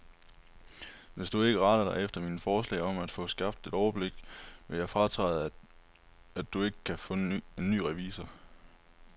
Hvis du ikke retter dig efter mine forslag om at få skabt et overblik, vil jeg fratræde, og du kan ikke få en ny revisor.